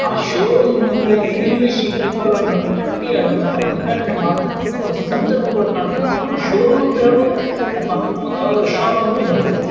ಆ showroom ಮುಂದುಗಡೆ ನಿಲ್ಲಿಸಿ ಪುಗ್ಗೆಗಳನ್ನು ಕಟ್ಟಿ ಅದನ್ನ ಉದ್ಘಾಟನೆ ಮಾಡ್ತಕ್ಕಂತ ಒಂದು ಸಂದರ್ಭಗಳು ಕಾಣ ತಕ್ಕಂತ ಒಂದು ಷೋ ರೂಮ್ ಅಂತ ಹೇಳಬಹುದಾ ಅಥವಾ ಒಂದು ಯಾವುದಾದರು ಶಾಪ್ ಅಂತೂ ಹೇಳ್ಬಹುದು.